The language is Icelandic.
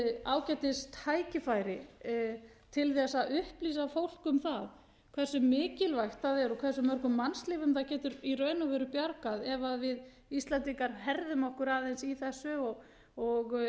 ágætis tækifæri til þess að upplýsa fólk um það hversu mikilvægt það er og hversu mörgum mannslífum það getur í raun og veru bjargað ef við íslendingar herðum okkur aðeins í þessu og